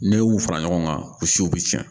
N'e y'u fara ɲɔgɔn kan u siw bɛ tiɲɛ